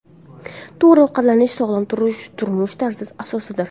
To‘g‘ri ovqatlanish – sog‘lom turmush tarzi asosidir.